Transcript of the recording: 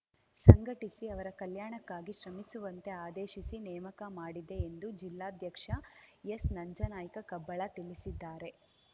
ಸಂಘಟಿಸಿ ಅವರ ಕಲ್ಯಾಣಕ್ಕಾಗಿ ಶ್ರಮಿಸುವಂತೆ ಆದೇಶಿಸಿ ನೇಮಕ ಮಾಡಿದೆ ಎಂದು ಜಿಲ್ಲಾಧ್ಯಕ್ಷ ಎಸ್‌ನಂಜನಾಯ್ಕ ಕಬ್ಬಳ ತಿಳಿಸಿದ್ದಾರೆ